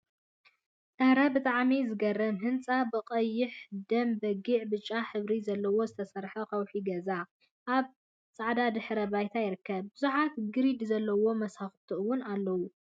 አረ ብጣዕሚ ዝገርም! ህንፃ ብቀይሕ፣ ደም በጊዕን ብጫን ሕብሪ ዘለዎ ዝተሰርሐ ከውሒ ገዛ አብ ፃዕዳ ድሕረ ባይታ ይርከብ፡፡ ብዙሓት ግሪድ ዘለዎም መሳኩቲ እውን አለውዎ፡፡